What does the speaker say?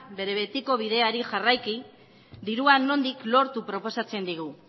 bere betiko bideari jarraiki dirua nondik lortu proposatzen digu